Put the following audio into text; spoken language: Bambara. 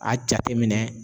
A jateminɛ